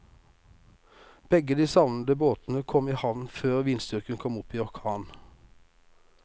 Begge de savnede båtene kom i havn før vindstyrken kom opp i orkan.